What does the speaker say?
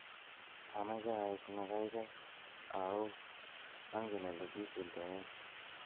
Amache aik ne gaigai ao angen ole kisultoen